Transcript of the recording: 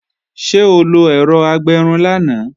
Ṣé o lo ẹ̀rọ agbẹrun lánàá?